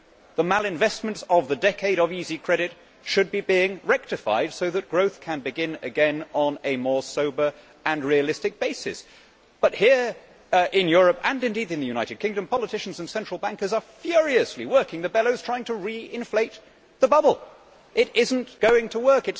The malinvestments of the decade of easy credit should be being rectified so that growth can begin again on a more sober and realistic basis, but here in Europe and indeed in the United Kingdom politicians and central bankers are furiously working the bellows in trying to re inflate the bubble. It is not going to work